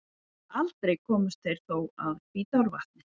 Aldrei komust þeir þó að Hvítárvatni.